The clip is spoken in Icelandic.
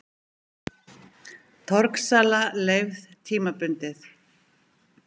Torgsala leyfð tímabundið